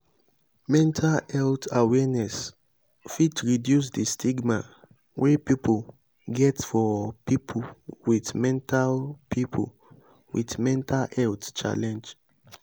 mental health awareness fit reduce di stigma wey pipo get for pipo with mental pipo with mental health challenge